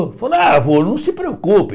Falou, ah, vô, não se preocupe.